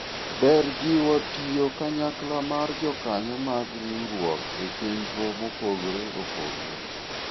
ber jiwo tiyo kanyakla mar jokanyo mag riwruok e chenro mopogore opogore